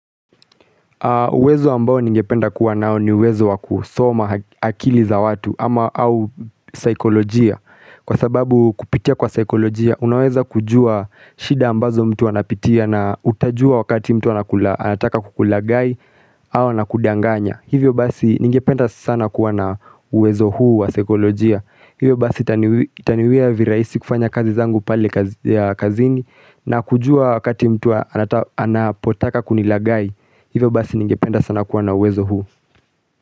Uwezo ambao ningependa kuwa nao ni uwezo wakusoma akili za watu ama au saikolojia Kwa sababu kupitia kwa saikolojia unaweza kujua shida ambazo mtu wanapitia na utajua wakati mtu anataka kukulagai au nakudanganya Hivyo basi ningependa sana kuwa na uwezo huu wa saikolojia Hivyo basi itaniwia virahisi kufanya kazi zangu pale kazini na kujua wakati mtu anapotaka kunilagai Hivo basi ningependa sana kuwa na uwezo huu.